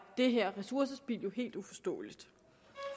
det her ressourcespild jo helt uforståeligt